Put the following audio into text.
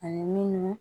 Ani minnu